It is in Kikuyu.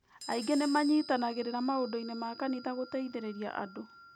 Aingĩ nĩ manyitanagĩra maũndũ-inĩ ma kanitha gũteithĩrĩria andũ.